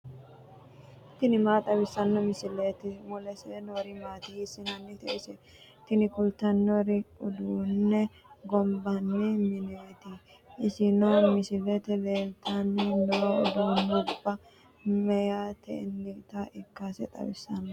tini maa xawissanno misileeti ? mulese noori maati ? hiissinannite ise ? tini kultannori uduunne gonbanni mineeti isino misilete leeltanni noo uduunnubba meyaatennita ikkase xawissanno.